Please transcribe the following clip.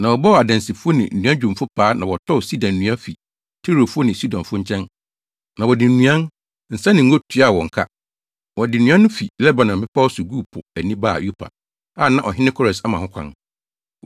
Na wɔbɔɔ adansifo ne nnuadwumfo paa na wɔtɔɔ sida nnua fi Tirofo ne Sidonfo nkyɛn, na wɔde nnuan, nsa ne ngo tuaa wɔn ka. Wɔde nnua no fi Lebanon mmepɔw so guu po ani baa Yopa, a na ɔhene Kores ama ho kwan.